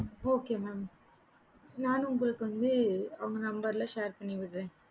okay mam நான் உங்களுக்கு வந்து அவங்க number எல்லாம் share பண்ணி விடுறேன்